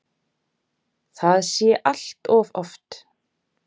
Það sé allt of oft.